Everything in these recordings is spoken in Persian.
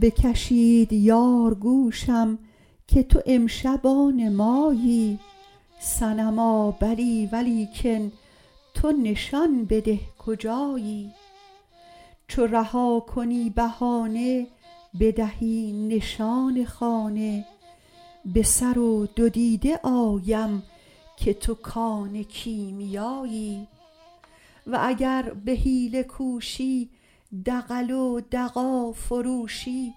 بکشید یار گوشم که تو امشب آن مایی صنما بلی ولیکن تو نشان بده کجایی چو رها کنی بهانه بدهی نشان خانه به سر و دو دیده آیم که تو کان کیمیایی و اگر به حیله کوشی دغل و دغا فروشی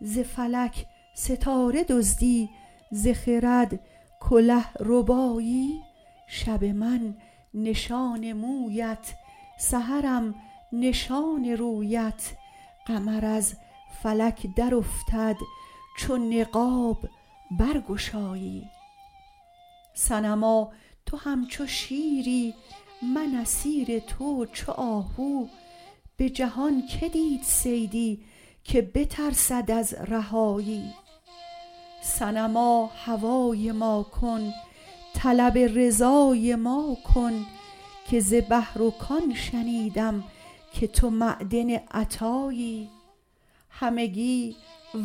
ز فلک ستاره دزدی ز خرد کله ربایی شب من نشان مویت سحرم نشان رویت قمر از فلک درافتد چو نقاب برگشایی صنما تو همچو شیری من اسیر تو چو آهو به جهان کی دید صیدی که بترسد از رهایی صنما هوای ما کن طلب رضای ما کن که ز بحر و کان شنیدم که تو معدن عطایی همگی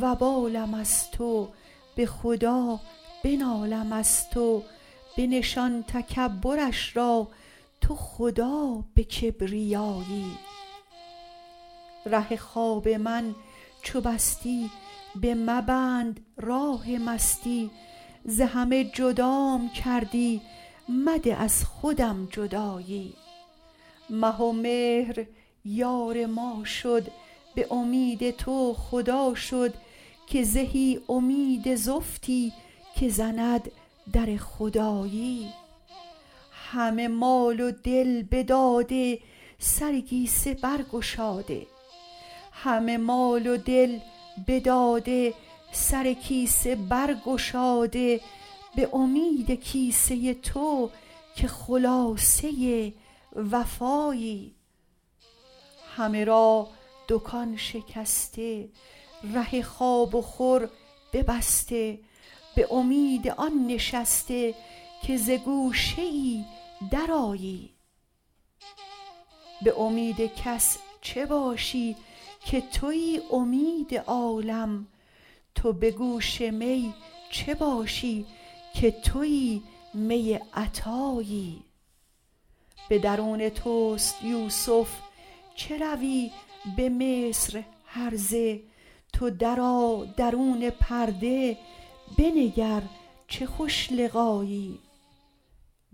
وبالم از تو به خدا بنالم از تو بنشان تکبرش را تو خدا به کبریایی ره خواب من چو بستی بمبند راه مستی ز همه جدام کردی مده از خودم جدایی مه و مهر یار ما شد به امید تو خدا شد که زهی امید زفتی که زند در خدایی همه مال و دل بداده سر کیسه برگشاده به امید کیسه تو که خلاصه وفایی همه را دکان شکسته ره خواب و خور ببسته به امید آن نشسته که ز گوشه ای درآیی به امید کس چه باشی که توی امید عالم تو به گوش می چه باشی که توی می عطایی به درون توست یوسف چه روی به مصر هرزه تو درآ درون پرده بنگر چه خوش لقایی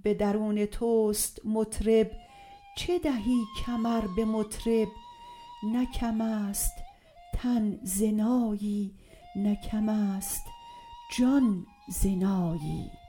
به درون توست مطرب چه دهی کمر به مطرب نه کم است تن ز نایی نه کم است جان ز نایی